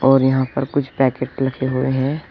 और यहां पर कुछ पैकेट लगे हुए हैं।